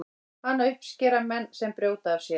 hana uppskera menn sem brjóta af sér